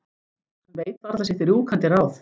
Hann veit varla sitt rjúkandi ráð.